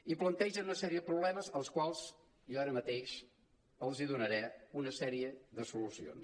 i plantegen una sèrie de pro·blemes als quals jo ara mateix els donaré una sèrie de solucions